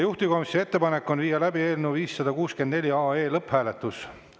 Juhtivkomisjoni ettepanek on viia läbi eelnõu 564 lõpphääletus.